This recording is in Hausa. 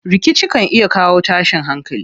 Rikici kan iya kawo tashin hankali.